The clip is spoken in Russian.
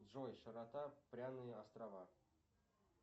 джой широта пряные острова